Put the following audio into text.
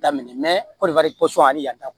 Daminɛ kɔni ani yanta